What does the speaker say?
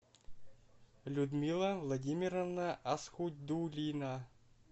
людмила владимировна асхудулина